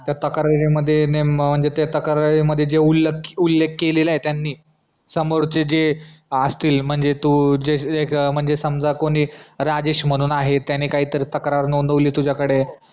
त्या तक्रारी मध्ये नेम म्हणजे त्या तक्रारी मध्ये जे ओलले जे उल्लेख केलेलय त्यानि समोरचे जे असतील म्हणजे तो म्हणजे समजा कोणी राजेश म्हणून आहे त्यांनी तक्रार नोंदवली त्यांनी तुजा कडे